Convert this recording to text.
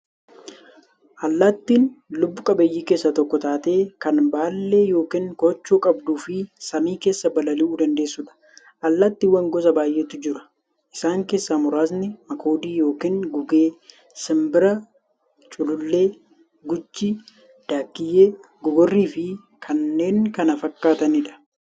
Allaattiin lubbuu qabeeyyii keessaa tokko taatee, kan baallee yookiin koochoo qabduufi samii keessaa balali'uu dandeessuudha. Allaattiiwwan gosa baay'eetu jira. Isaan keessaa muraasni; makoodii yookiin gugee, simbira, culullee, guchii, daakkiyyee, gogorriifi kanneen kana fakkaataniidha.